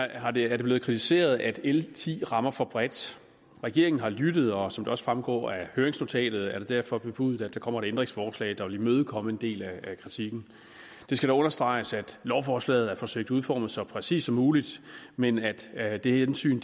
er det er det blevet kritiseret at l ti rammer for bredt regeringen har lyttet og som det også fremgår af høringsnotatet er det derfor bebudet at der kommer et ændringsforslag der vil imødekomme en del af kritikken det skal dog understreges at lovforslaget er forsøgt udformet så præcist som muligt men at at det hensyn